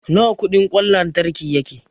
Nawa kudin kwan lantriki yake?